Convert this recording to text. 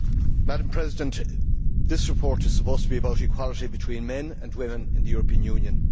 Madam President, this report is supposed to be about equality between men and women in the European Union.